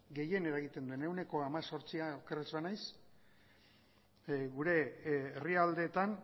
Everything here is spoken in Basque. gehien eragiten duena ehuneko hemezortzia oker ez banaiz gure herrialdeetan